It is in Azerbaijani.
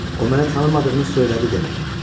O məni tanımadığını söylədi demək.